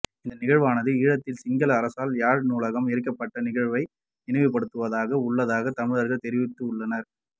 இந்த நிகழ்வானது ஈழத்தில் சிங்கள அரசால் யாழ் நூலகம் எரிக்கப்பட்ட நிகழ்வை நினைவுபடுத்துவதாக உள்ளதாக தமிழர்கள் தெரிவித்துள்ளார்கள்